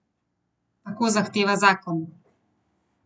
Tako zahteva zakon.